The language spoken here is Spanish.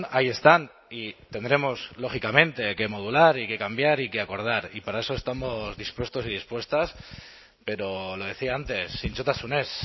ahí están y tendremos lógicamente que modular y que cambiar y que acordar y para eso estamos dispuestos y dispuestas pero lo decía antes zintzotasunez